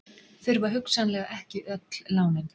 Þurfa hugsanlega ekki öll lánin